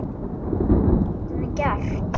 Hvað getum við gert?